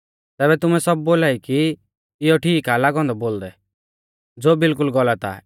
तैबै तुमै सब बोलाई कि इयौ ठीक आ लागौ औन्दौ बोलदै ज़ो बिल्कुल गलत आ